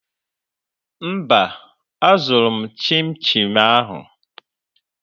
Mba, azụrụ m chinchi ahụ.